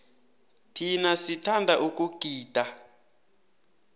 thina sithanda ukugida